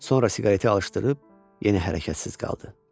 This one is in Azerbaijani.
Sonra siqareti alışdırıb yenə hərəkətsiz qaldı.